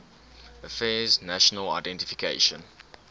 affairs national identification